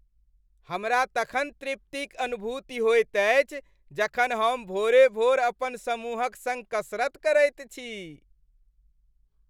हमरा तखन तृप्तिक अनुभूति होयत अछि जखन हम भोरे भोरे अपन समूहक सङ्ग कसरत करैत छी।